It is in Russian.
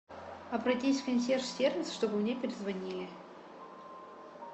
обратись в консьерж сервис чтобы мне перезвонили